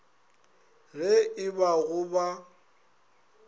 ge e ba go ba